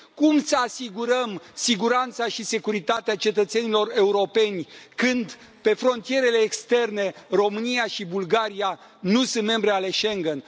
Cum să asigurăm siguranța și securitatea cetățenilor europeni, când, pe frontierele externe, România și Bulgaria nu sunt membre ale Schengen?